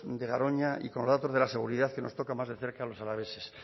de garoña y con los datos de la seguridad que nos toca más de cerca a los alaveses